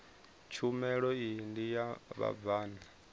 tshumelo iyi ndi ya vhabvann